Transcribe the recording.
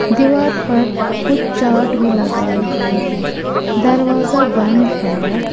दीवार पर कुछ चार्ट भी लगाए हुए हैं दरवाजा बंद है।